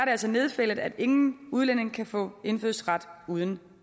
altså nedfældet at ingen udlænding kan få indfødsret uden